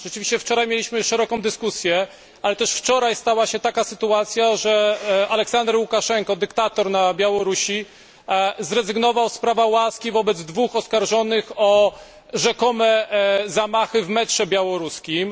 Rzeczywiście wczoraj mieliśmy szeroką dyskusję, ale też wczoraj stała się taka sytuacja, że Aleksander Łukaszenka, dyktator na Białorusi, zrezygnował z prawa łaski wobec dwóch oskarżonych o rzekome zamachy w metrze białoruskim.